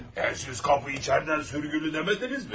Əl, siz qapı içəridən sürgülü demədinizmi?